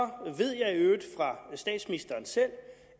ved jeg i øvrigt fra statsministeren selv